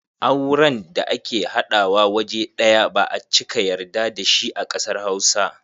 Auren da ake haɗawa waje ɗaya ba a cika yarda da shi a kasar Hausa.